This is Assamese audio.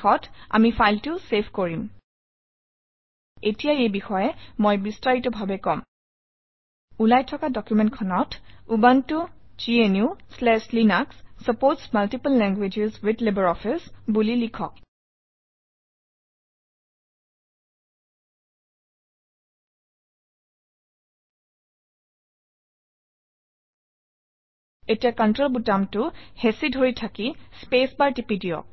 শেষত আমি ফাইলটো চেভ কৰিম এতিয়া এই বিষয়ে মই বিস্তাৰিতভাৱে কম ওলাই থকা ডকুমেণ্টখনত Ubuntu GNU Linux supports multiple languages with LibreOffice বুলি লিখক এতিয়া কণ্ট্ৰল বুটামটো হেঁচি ধৰি থাকি স্পেচবাৰ টিপি দিয়ক